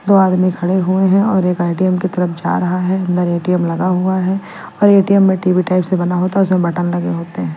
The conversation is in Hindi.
दो आदमी खड़े हुए हैं और एक आईटीएम की तरफ जा रहा है अंदर ए_टी_एम लगा हुआ है और ए_टी_एम में टी_वी टाइप से बना होता है उसमें बटन लगे होते हैं।